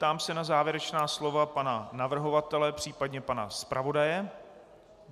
Ptám se na závěrečná slova pana navrhovatele, případně pana zpravodaje.